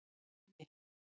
Firði